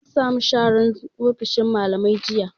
An samu sharan ofishin mallamai jiya